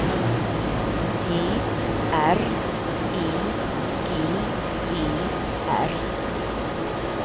G R E G E R